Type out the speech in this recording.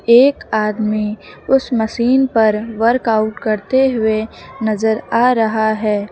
एक आदमी उस मशीन पर वर्कआउट करते हुए नजर आ रहा है।